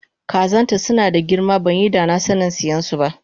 Kazanta sunada girma banyi danasanin siyansu ba